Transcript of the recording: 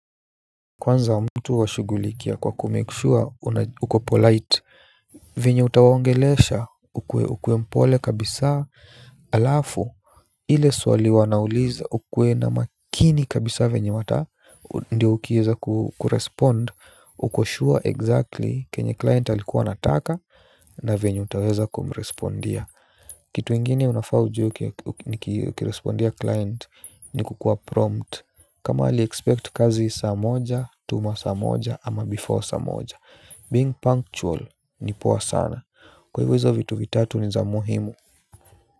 Kwanza mtu washugulikia kwa ku-make sure uko polite. Venye utawaongelesha ukuwe mpole kabisa alafu ile swali wanauliza ukuwe na makini kabisa vinye wata. Ndiyo ukieza kurespond. Uko sure exactly kenye client alikuwa anataka. Na venye utaweza kumurespondia. Kitu ingine unafaa ujuwe ni ukirespondia client ni kukua prompt. Kama ali-expect kazi saa moja, tuma saa moja ama before saa moja Being punctual ni poa sana. Kwa hivyo hizo vitu vitatu ni za muhimu.